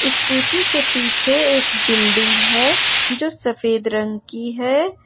Scooty के पीछे एक बिल्डिंग है जो सफेद रंग की है।